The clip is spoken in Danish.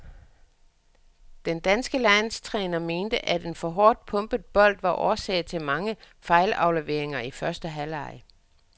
Den danske landstræner mente, at en for hårdt pumpet bold var årsag til mange fejlafleveringer i første halvleg.